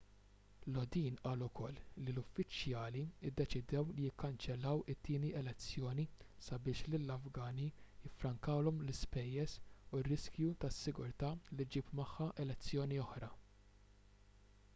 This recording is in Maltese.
lodin qal ukoll li l-uffiċjali ddeċidew li jikkanċellaw it-tieni elezzjoni sabiex lill-afgani jiffrankawlhom l-ispejjeż u r-riskju tas-sigurtà li ġġib magħha elezzjoni oħra